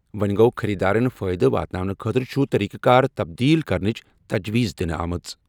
وۄنٛہِ گوٚو، خٔریٖدارَن فٲیدٕ واتناونہٕ خٲطرٕ چھُ طریقہٕ کار تبدیل کرنٕچ تجویٖز دِنہٕ آمٕژ۔